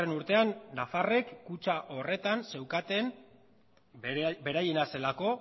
urtean nafarrek kutxa horretan zeukaten beraiena zelako